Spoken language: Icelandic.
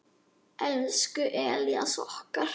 Elsku Elías okkar.